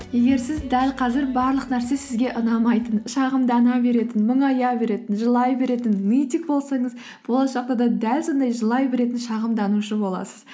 егер сіз дәл қазір барлық нәрсе сізге ұнамайтын шағымдана беретін мұңая беретін жылай беретін нытик болсаңыз болашақта да дәл сондай жылай беретін шағымданушы боласыз